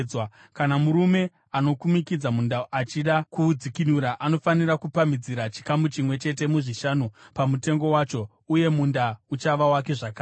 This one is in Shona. Kana murume anokumikidza munda achida kuudzikinura, anofanira kupamhidzira chikamu chimwe chete muzvishanu pamutengo wacho, uye munda uchava wake zvakare.